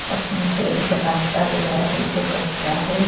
उसमें से एक रास्ता गया है जो कच्चा है।